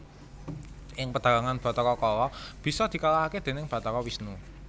Ing pedhalangan Bathara Kala bisa dikalahaké déning Bathara Wisnu